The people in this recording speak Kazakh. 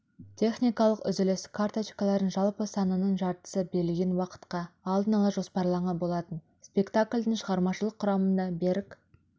техникалық үзіліс карточкалардың жалпы санының жартысы берілген уақытқа алдын ала жоспарланған болатын спектакльдің шығармашылық құрамында берік